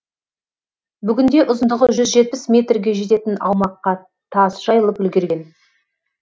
бүгінде ұзындығы жүз жетпіс метрге жететін аумаққа тас жайылып үлгерген